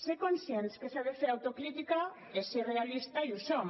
ser conscients que s’ha de fer auto crítica és ser realista i ho som